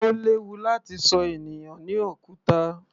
Ó léwu láti ṣọ ènìyàn ní òkúta.